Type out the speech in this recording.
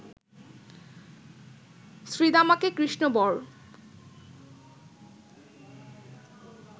শ্রীদামাকে কৃষ্ণ বর